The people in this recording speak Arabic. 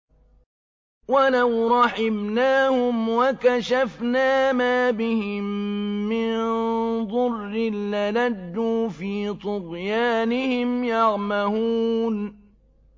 ۞ وَلَوْ رَحِمْنَاهُمْ وَكَشَفْنَا مَا بِهِم مِّن ضُرٍّ لَّلَجُّوا فِي طُغْيَانِهِمْ يَعْمَهُونَ